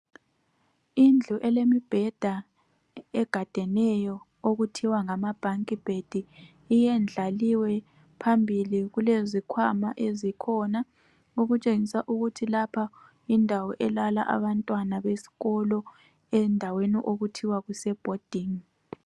Indlu elemibheda egadeneyo okuthiwa ngamabhunki bhedi iyendlaliwe phambili kulezikwama ezikhona okutshenga ukuthi lapha yindawo elala abantwana besikolo endaweni okuthiwa kusebhodini.